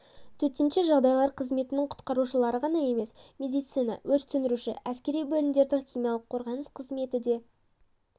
төтенше жағдайлар қызметінің құтқарушылары ғана емес медицина өрт сөндіруші әскери бөлімдердің химиялық қорғаныс қызметі де